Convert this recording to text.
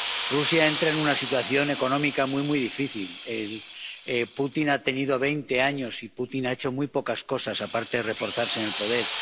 Rusia entra en una situación económica muy, muy difícil Putin ha tenido veinte años y Putin ha hecho muy pocas cosas aparte de reforzarse en el poder.